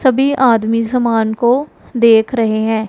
सभी आदमी सामान को देख रहे हैं।